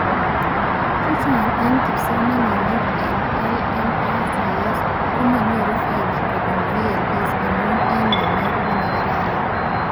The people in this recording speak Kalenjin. Chechang eng kipsomanink eng LMICs komonyoru faida kobun VLEs amuu eng namet nemakararan